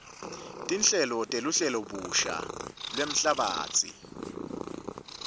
tinhlelo teluhlelobusha lwemhlabatsi